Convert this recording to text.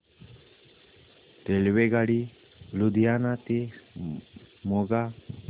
रेल्वेगाडी लुधियाना ते मोगा